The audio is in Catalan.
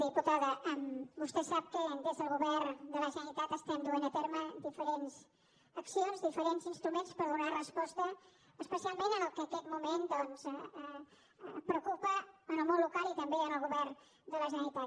diputada vostè sap que des del govern de la generalitat estem duent a terme diferents accions diferents instruments per donar resposta especialment al que en aquest moment doncs preocupa el món local i també el govern de la generalitat